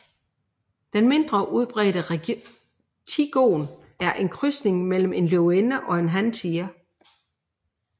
Den mindre udbredte tigon er en krydsning mellem en løvinde og en hantiger